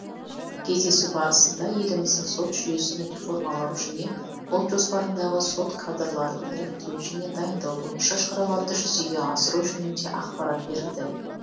кездесу барысында еліміздің сот жүйесін реформалау және ұлт жоспарындағы сот кадрларын іріктеу және дайындау бойынша шараларды жүзеге асыру жөнінде ақпарат берілді